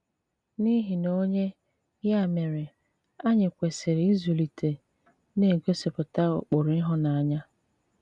N’ìhì̀ na onyé, yà mére, ànyị kwesị̀rì ịzụ̀lìté na-ègosìpùtà ụ́kpụrụ̀ ìhụ̀nànyà?